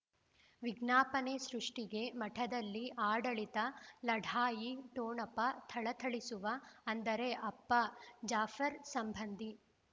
ವಿಜ್ಞಾಪನೆ ಸೃಷ್ಟಿಗೆ ಮಠದಲ್ಲಿ ಆಡಳಿತ ಲಢಾಯಿ ಠೊಣಪ ಥಳಥಳಿಸುವ ಅಂದರೆ ಅಪ್ಪ ಜಾಫರ್ ಸಂಬಂಧಿ